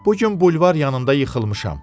Bu gün bulvar yanında yıxılmışam.